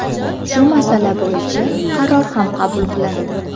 Shu masala bo‘yicha qaror ham qabul qilindi.